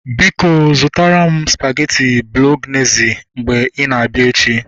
Biko zụtara m spageti bolognezi mgbe ina abịa